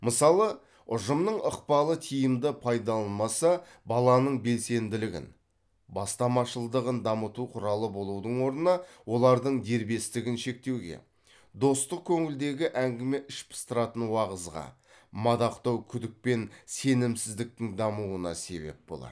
мысалы ұжымның ықпалы тиімді пайдаланылмаса баланың белсенділігін бастамашылдығын дамыту құралы болудың орнына олардың дербестігін шектеуге достық көңілдегі әңгіме іш пыстыратын уағызға мадақтау күдік пен сенімсіздіктің дамуына себеп болады